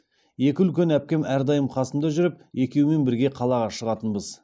екі үлкен әпкем әрдайым қасымда жүріп екеуімен бірге қалаға шығатынбыз